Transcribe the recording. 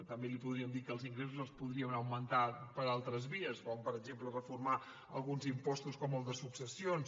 també li podríem dir que els ingressos es podrien augmentar per altres vies com per exemple reformar alguns impostos com el de successions